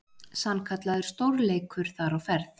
Sannkallaður stórleikur þar á ferð.